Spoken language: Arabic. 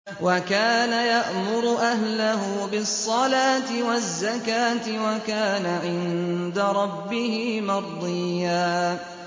وَكَانَ يَأْمُرُ أَهْلَهُ بِالصَّلَاةِ وَالزَّكَاةِ وَكَانَ عِندَ رَبِّهِ مَرْضِيًّا